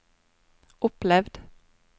opplevd